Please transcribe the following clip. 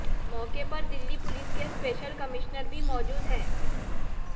मौके पर दिल्ली पुलिस के स्पेशल कमिश्नर भी मौजूद हैं